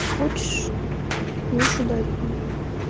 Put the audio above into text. хочешь можешь ударить меня